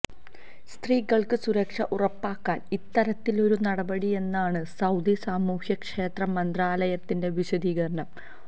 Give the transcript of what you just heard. സ്ത്രീകള്ക്ക് സുരക്ഷ ഉറപ്പാക്കാണ് ഇത്തരത്തിലൊരു നടപടിയന്നാണ് സൌദി സാമൂഹ്യക്ഷേമ മന്ത്രാലയത്തിന്റെ വിശദീകരണം